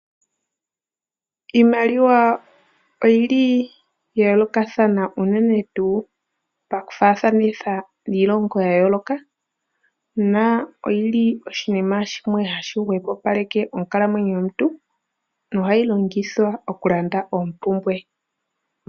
Iimaliwa oya yoolokathana unene tuu paku faathanitha niilongo ya yooloka . Oyili oshinima shimwe hashi hwepopaleka onkalamwenyo yomuntu. Ohayi longithwa oku landa oompumbwe.